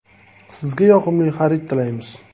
Sizga yoqimli xarid tilaymiz!